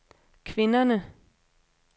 kvinderne